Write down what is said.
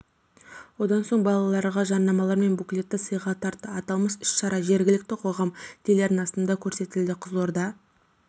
одан соң балалағар жадынамалар мен буклеттерді сыйға тартты аталмыш іс-шара жергілікті қоғам телеарнасында көрсетілді қызылорда